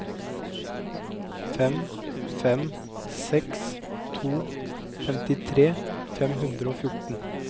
fem fem seks to femtitre fem hundre og fjorten